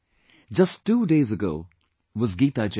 Just two days ago was Geeta jayanti